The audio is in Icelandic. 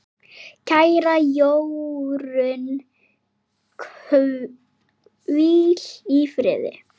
Kæra Jórunn, hvíl í friði.